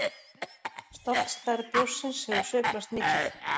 Stofnstærð bjórsins hefur sveiflast mikið.